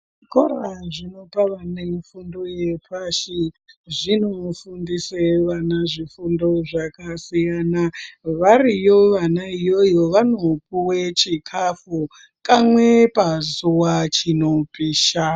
Zvikora zvinopa vana fundo yepashi ,zvinofundise vana zvifundo zvakasiyana variyo vana iyoyo vanopuwe chikafu kamwe pazuva chinopisha .